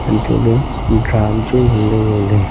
anto ley drum chu ngan ley ngo ley.